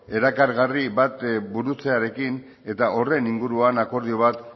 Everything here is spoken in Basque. erakargarri bat burutzearekin eta horren inguruan akordio bat